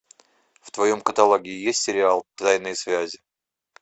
в твоем каталоге есть сериал тайные связи